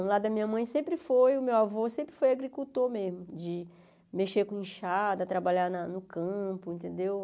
Do lado da minha mãe sempre foi, o meu avô sempre foi agricultor mesmo, de mexer com enchada, de trabalhar na no campo, entendeu?